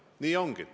Nii ongi.